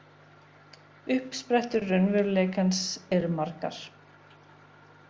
Uppsprettur raunveruleikans eru margar.